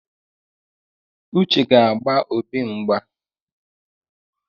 Uche ga-agba Obi mgba